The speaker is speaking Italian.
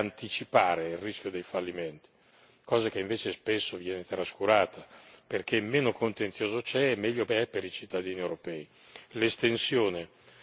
In fondo a noi quello che serve è anticipare il rischio dei fallimenti, cosa che invece spesso viene trascurata perché meno contenzioso c'è e meglio è per i cittadini europei.